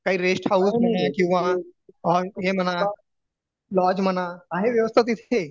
काही rest house म्हणा किंवा हे म्हणा लॉज म्हणा आहे व्यवस्था तिथे